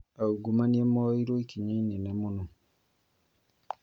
Aungumania moerwo ikinya inene mũno